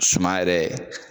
Suma yɛrɛ